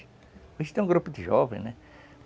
Hoje tem um grupo de jovens, né?